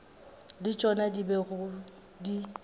le tšona di bego di